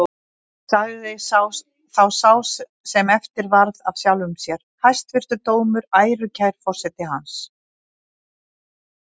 Sagði þá sá sem eftir varð af sjálfum sér: Hæstvirtur dómur, ærukær forseti hans!